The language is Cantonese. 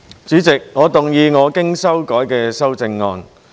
主席，我動議我經修改的修正案。